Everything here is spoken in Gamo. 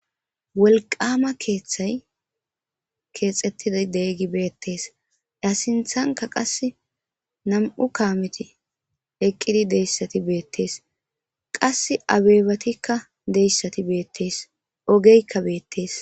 Wolqama kethay kexetidi betes a sinthanka nam'u kameti eqidi de'iyas betes qase abebatika diyasati bettes.ogeyka bettes.